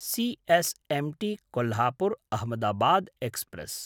C S M T Kolhapur-Ahmedabad express